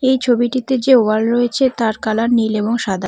এই ছবিটিতে যে ওয়াল রয়েছে তার কালার নীল এবং সাদা।